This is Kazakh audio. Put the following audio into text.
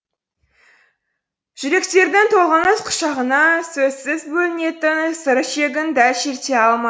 жүректердің толғаныс құшағына сөзсіз бөлінетін сыр ішегін дәл шерте алмады